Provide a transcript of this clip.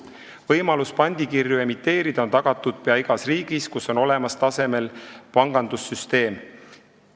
Võimalus pandikirju emiteerida on tagatud pea igas riigis, kus on olemas tasemel pangandussüsteem.